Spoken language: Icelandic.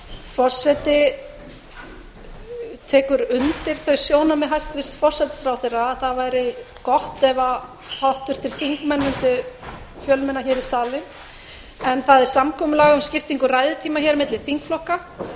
forseti tekur undir þau sjónarmið hæstvirtur forsætisráðherra það væri gott ef háttvirtir þingmenn mundu fjölmenna í salinn það er samkomulag um skiptingu ræðutíma milli þingflokka